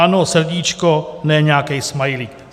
Ano, srdíčko, ne nějaký smajlík.